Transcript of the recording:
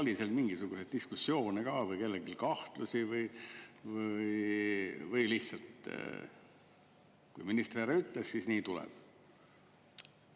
Oli seal mingisuguseid diskussioone ka või oli kellelgi kahtlusi või oli lihtsalt nii, et kui minister nii ütles, siis nii tuleb teha?